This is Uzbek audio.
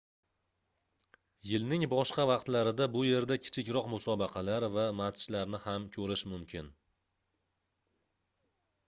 yilning boshqa vaqtlarida bu yerda kichikroq musobaqalar va matchlarni ham koʻrish mumkin